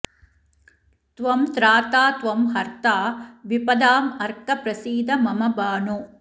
त्वं त्राता त्वं हर्ता विपदामर्क प्रसीद मम भानो